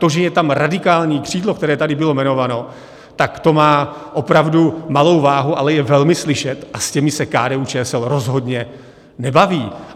To, že je tam radikální křídlo, které tady bylo jmenováno, tak to má opravdu malou váhu, ale je velmi slyšet, a s těmi se KDU-ČSL rozhodně nebaví.